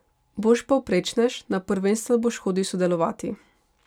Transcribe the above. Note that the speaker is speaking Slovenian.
Boš povprečnež, na prvenstva boš hodil sodelovati.